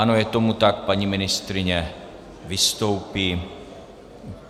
Ano, je tomu tak, paní ministryně vystoupí.